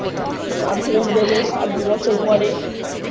মাধ্যমিক দেবে সা আর দুবছর পরে